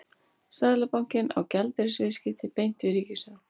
Seðlabankinn á gjaldeyrisviðskipti beint við ríkissjóð.